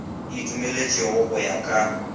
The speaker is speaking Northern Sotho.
e dumelwetšwego go ya ka